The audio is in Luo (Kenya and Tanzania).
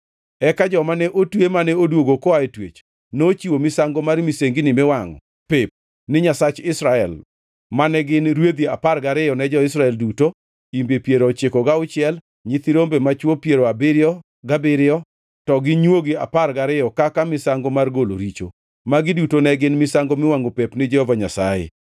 Eka joma ne otwe mane odwogo koa e twech nochiwo misango mar misengini miwangʼo pep ni Nyasach Israel mane gin, rwedhi apar gariyo ne jo-Israel duto, imbe piero ochiko gauchiel, nyithi rombe machwo piero abiriyo gabiriyo, to gi nywogi apar gariyo kaka misango mar golo richo. Magi duto ne gin misango miwangʼo pep ni Jehova Nyasaye.